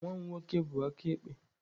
Nwa m nwoke bụ aka ekpe.